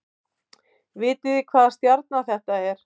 Vitið þið hvaða stjarna þetta er